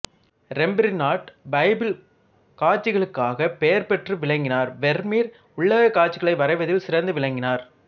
Rembrandt Bible காட்சிகளுக்காகப் பெயர் பெற்று விளங்கினார் வெர்மீர் உள்ளகக் காட்சிகளை வரைவதில் சிறந்து விளங்கினார்